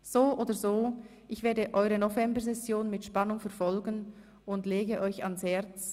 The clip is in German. So oder so werde ich eure Novembersession mit Spannung verfolgen und lege euch ans Herz: